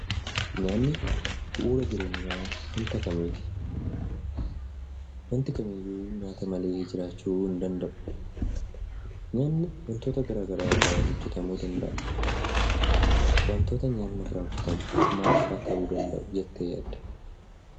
Nyaanni bu'uura jireenyaa wanta kamiiti. Wanti kamiyyuu nyaata malee jiraachuu hin danda’u. Nyaanni wantoota gara garaa irraa hojjetamuu danda’a. Wantoota nyaanni irraa hojjetamu maal fa'a ta'uu danda’u jettee yaadda?